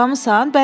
Oğurlamısan?